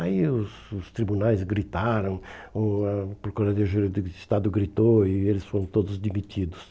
Aí os os tribunais gritaram, hum ah a Procuradoria Jurídica de Estado gritou e eles foram todos demitidos.